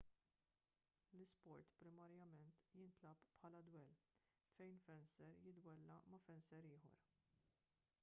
l-isport primarjament jintlagħab bħala dwell fejn fenser jiddwella ma' fenser ieħor